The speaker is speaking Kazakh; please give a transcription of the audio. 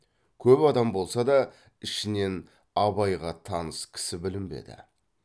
көп адам болса да ішінен абайға таныс кісі білінбеді